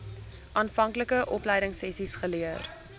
aanvanklike opleidingsessies geleer